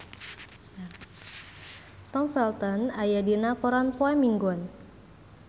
Tom Felton aya dina koran poe Minggon